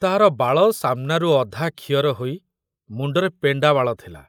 ତାର ବାଳ ସାମନାରୁ ଅଧା ଖିଅର ହୋଇ ମୁଣ୍ଡରେ ପେଣ୍ଡା ବାଳ ଥିଲା।